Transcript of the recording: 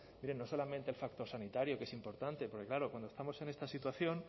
miren no solamente el factor sanitario que es importante porque claro cuando estamos en esta situación